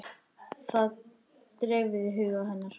Það dreifði huga hennar.